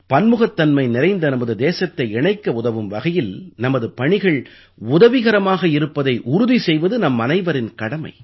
பன்முகத்தன்மை நிறைந்த நமது தேசத்தை இணைக்க உதவும் வகையில் நமது பணிகள் உதவிகரமாக இருப்பதை உறுதி செய்வது நம்மனைவரின் கடமை